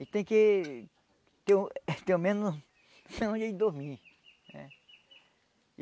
Ele tem que ter, pelo menos, ter onde ele dormir né.